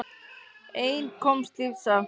Einn komst lífs af.